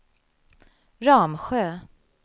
Ramsjö